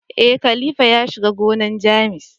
Eh, khalifa ya shiga gonan James.